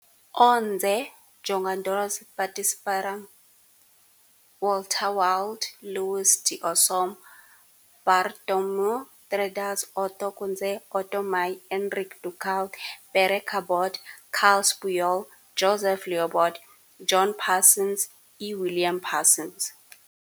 Onze jogadores participaram- Walter Wild, Lluís d'Osso, Bartomeu Terradas, Otto Kunzle, Otto Maier, Enric Ducal, Pere Cabot, Carles Puyol, Josep Llobet, John Parsons e William Parsons.